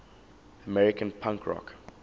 american punk rock